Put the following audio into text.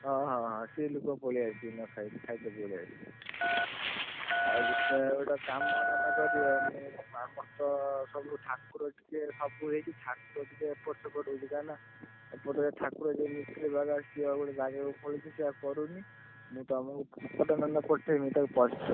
ଓହୋ ସ୍ତ୍ରୀ ଲୋକ ପଳେଇଆସିବେ ଖାଇତେ ପଳେଇ ଆସିବେ ଆଉ ଗୁଟେ ଗୁଟେ କାମ ନହେଲେ କରିବ ଆମର ତ ସବୁ ଠାକୁର ଟିକେ ସବୁ ଏଇଠି ଠାକୁର ଟିକେ ଏପଟ ସେପଟ ହଉଛି କାଇଁ ନା ଏପଟରେ ଠାକୁର ଯିଏ ମିସ୍ତ୍ରୀ ବାଗାଏ ସିଏ ଆଉ ଗୋଟେ ଜାଗାକୁ ପଳେଇଛି ସିଏ ଆଉ କରୁନି ମୁ ତମକୁ photo ଟା ମାନେ ପଠେଇମି ତମେ ।